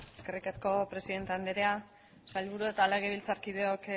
eskerrik asko presidente andrea sailburu eta legebiltzarkideok